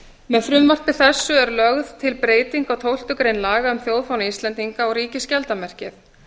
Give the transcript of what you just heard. með frumvarpi þessu er lögð til breyting á tólftu grein laga um þjóðfána íslendinga og ríkisskjaldarmerkið